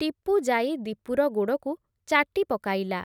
ଟିପୁ ଯାଇ, ଦୀପୁର ଗୋଡ଼କୁ ଚାଟି ପକାଇଲା ।